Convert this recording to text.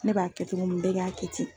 Ne b'a kɛ cogo min bɛɛ Ka kɛ ten.